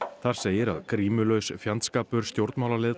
þar segir að grímulaus fjandskapur stjórnmálaleiðtoga